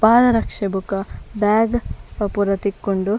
ಪಾದರಕ್ಷೆ ಬೊಕ ಬ್ಯಾಗ್ ಅವು ಪೂರ ತಿಕ್ಕುಂಡು.